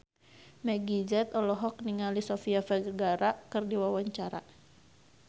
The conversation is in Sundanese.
Meggie Z olohok ningali Sofia Vergara keur diwawancara